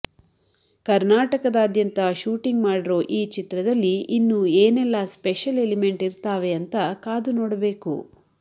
ಕರ್ನಾಟಕದಾದ್ಯಂತ ಶೂಟಿಂಗ್ ಮಾಡಿರೋ ಈ ಚಿತ್ರದಲ್ಲಿ ಇನ್ನು ಏನೇಲ್ಲಾ ಸ್ಪೆಷಲ್ ಎಲಿಮೆಂಟ್ ಇರ್ತಾವೆ ಅಂತಾ ಕಾದು ನೋಡಬೇಕು